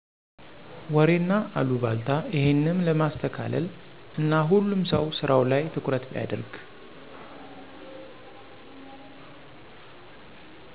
ወሬና አሉባልታ እሄንም ለማስተካለል እና ሁሉም ሰው ስራው ላይ ትኩረት ቢያርግ